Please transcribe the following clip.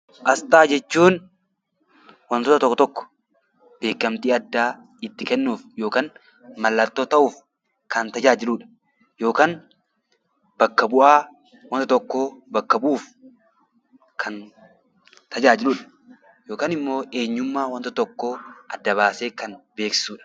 Asxaa jechuun wantoota tokko tokko beekamtii addaa itti kennuuf yookaan mallattoo ta'uuf kan tajaajilu dha, yookaan bakka bu'aa wanta tokkoo bakka bu'uuf kan tajaajilu dha. Yookaan immoo eenyummaa wanta tokkoo adda baasee kan beeksisu dha.